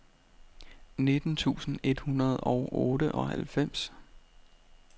nitten tusind et hundrede og otteoghalvfems